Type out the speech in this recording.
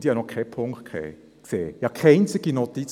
Und ich habe noch nichts gesehen, keine einzige Notiz.